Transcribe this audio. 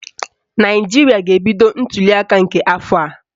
Naijiria ga-ebido ntuliaka nke afọ a.